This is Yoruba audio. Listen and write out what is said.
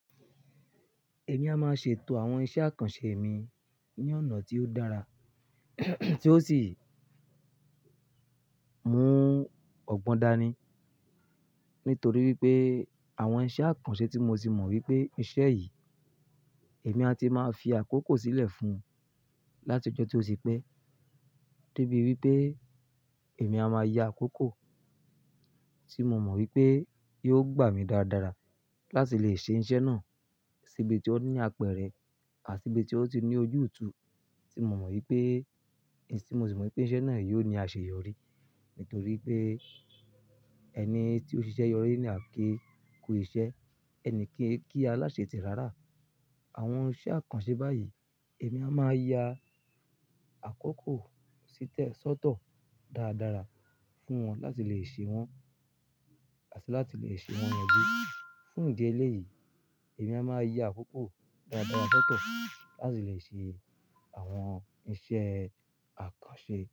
Èmi a máa ṣe ètò àwọn iṣẹ́ àkànṣe mi ní ọ̀nà tí ó dára tí ó sì mú ọgbọ́n dání. Nítorí wípé àwọn iṣẹ́ àkànṣe tí mo ti mọ̀ wípé iṣẹ́ yìí, èmi a ti máa fi àkókò sílẹ̀ fún un láti ọjọ́ tí ó ti pẹ́ dé bí wípé èmi a máa ya àkókò tí mo mọ̀ wípé yóò gbà mí dáadára láti lè ṣe iṣẹ́ náà síbi tí ó ní apẹ̀rẹ̀ àti ibi tí ó ti ní ojútú tí mo mọ̀ wípé, tí mo ti mọ̀ wípé iṣẹ́ náà yóò ní àṣeyọrí. Nítorí pé ẹni tí ó ṣiṣẹ́ yọrí ni a kí kú iṣẹ́, ẹnìkan e kí aláṣetì rárá. Àwọn iṣẹ́ àkànṣe báyìí, èmi a máa ya àkókò sí lẹ̀ sọ́tọ̀ dáadára fún wọn láti lè ṣe wọ́n àti láti lè ṣe wọ́n yànjú. Fún ìdí eléyìí, èmi a máa ya àkókò dáadára sọ́tọ̀ láti lè ṣe àwọn iṣẹ́ àkànṣe.